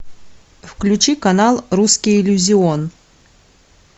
включи канал русский иллюзион